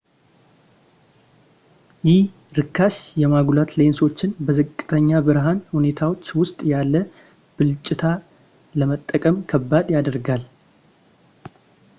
ይህ ርካሽ የማጉላት ሌንሶችን በዝቅተኛ ብርሃን ሁኔታዎች ውስጥ ያለ ብልጭታ ለመጠቀም ከባድ ያደርገዋል